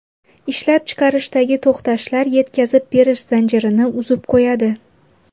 Ishlab chiqarishdagi to‘xtashlar yetkazib berish zanjirini uzib qo‘yadi.